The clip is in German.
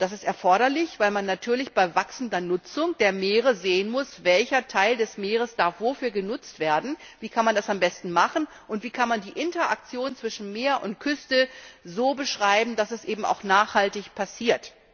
Das ist erforderlich, weil man natürlich bei wachsender Nutzung der Meere sehen muss, welcher Teil des Meeres wofür genutzt werden darf, wie man das am besten machen kann und wie man die Interaktion zwischen Meer und Küste so beschreiben kann, dass das eben auch nachhaltig passiert.